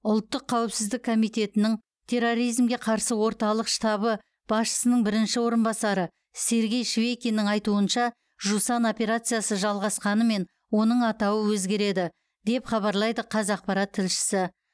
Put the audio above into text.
ұлттық қауіпсіздік комитетінің терроризмге қарсы орталық штабы басшысының бірінші орынбасары сергей швейкиннің айтуынша жусан операциясы жалғасқанымен оның атауы өзгереді деп хабарлайды қазақпарат тілшісі